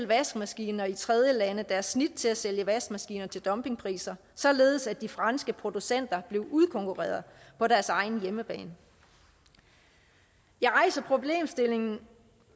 vaskemaskiner i tredjelande deres snit til at sælge vaskemaskiner til dumpingpriser således at de franske producenter blev udkonkurreret på deres egen hjemmebane jeg rejser problemstillingen